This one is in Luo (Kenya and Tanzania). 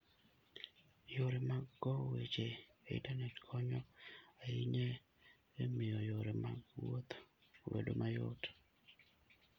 yore mag kowo weche e Intanet konyo ahinya e miyo yore mag wuoth obed mayot.